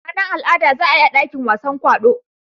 Ranar al'ada za a yi a dakin wasan kwaɗo.